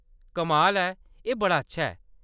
कमाल है, एह्‌‌ बड़ा अच्छा ऐ।